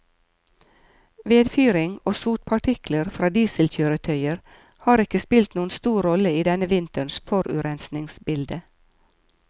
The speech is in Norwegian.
Vedfyring og sotpartikler fra dieselkjøretøyer har ikke spilt noen stor rolle i denne vinterens forurensningsbilde.